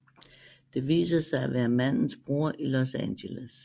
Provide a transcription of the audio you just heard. Det viser sig at være mandens bror i Los Angeles